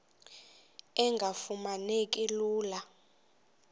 engafuma neki lula